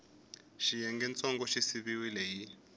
xiyengantsongo xi siviwile hi x